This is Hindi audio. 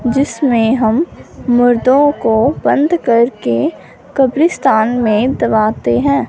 जिसमें हम मुर्दों को बंद करके कब्रिस्तान में दबाते हैं।